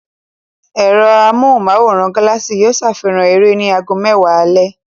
Ẹ̀rọ amóhùmáwòhán Galaxy yóò safihan eré ní ago mẹ́wàá alẹ́.